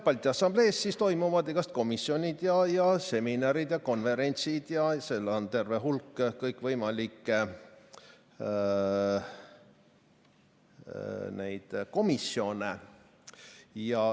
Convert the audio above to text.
Balti Assamblees toimuvad igasugu komisjonid, seminarid ja konverentsid ning seal on terve hulk kõikvõimalikke komisjone.